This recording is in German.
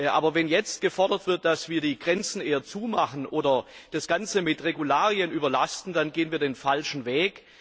Aber wenn jetzt gefordert wird, dass wir die Grenzen eher zumachen oder das Ganze mit Regularien überlasten, dann gehen wir den falschen Weg.